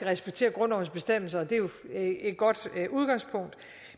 respektere grundlovens bestemmelser og det er jo et godt udgangspunkt